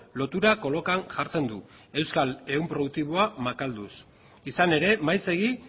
lotura kolokan jartzen du euskal ehun produktiboa makalduz izan ere maizegi